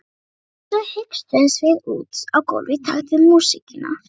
Svo hikstuðumst við út á gólfið í takt við músíkina.